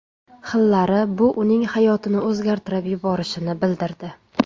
Xillari bu uning hayotini o‘zgartirib yuborishini bildirdi.